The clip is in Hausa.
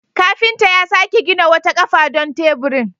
Kafinta ya sake gina wata kafa don teburin.